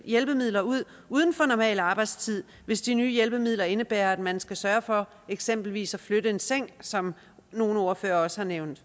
hjælpemidler ud uden for normal arbejdstid hvis de nye hjælpemidler indebærer at man skal sørge for eksempelvis at flytte en seng som nogle ordførere også har nævnt